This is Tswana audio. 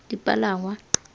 dipalangwa